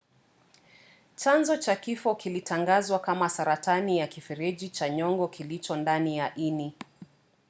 chanzo cha kifo kilitangazwa kama saratani ya kifereji cha nyongo kilicho ndani ya ini